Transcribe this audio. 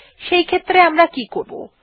সেইক্ষেত্রে আমরা কি করব 160